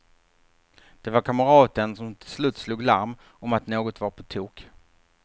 Det var kamraten som till slut slog larm om att något var på tok.